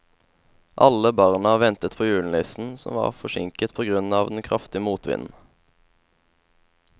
Alle barna ventet på julenissen, som var forsinket på grunn av den kraftige motvinden.